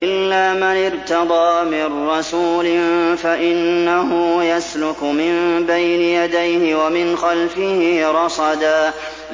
إِلَّا مَنِ ارْتَضَىٰ مِن رَّسُولٍ فَإِنَّهُ يَسْلُكُ مِن بَيْنِ يَدَيْهِ وَمِنْ خَلْفِهِ رَصَدًا